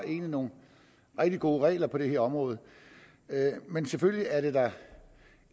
nogle rigtig gode regler på det her område men selvfølgelig er det da